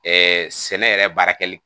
Ɛɛ sɛnɛ yɛrɛ baara kɛli